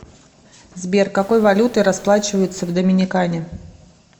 сбер какой валютой расплачиваются в доминикане